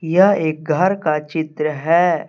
यह एक घर का चित्र है।